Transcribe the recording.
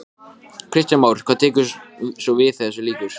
Finna sannleika þinn blossa inni í mér.